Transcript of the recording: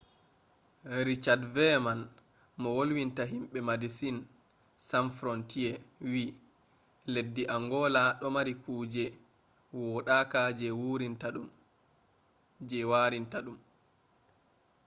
richad veyeman mo wolwinta himɓe medesin san frontiye wi: leddi angola ɗo mari kuje woɗaka je warinta ɗum